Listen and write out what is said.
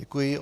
Děkuji.